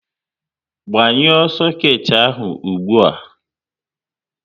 Gbanyuo soket ahụ ụgbụa!